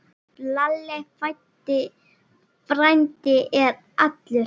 Lalli frændi er allur.